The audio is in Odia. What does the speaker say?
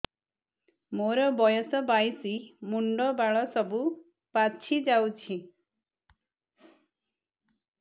ମୋର ବୟସ ବାଇଶି ମୁଣ୍ଡ ବାଳ ସବୁ ପାଛି ଯାଉଛି